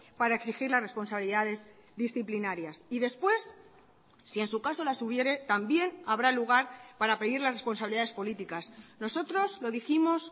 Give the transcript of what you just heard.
para exigir las responsabilidades disciplinarias y después si en su caso las hubiere también habrá lugar para pedir las responsabilidades políticas nosotros lo dijimos